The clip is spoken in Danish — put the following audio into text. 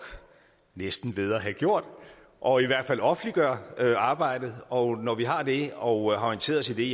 næsten ved at have gjort og i hvert fald offentliggør arbejdet og når vi har det og har orienteret os i det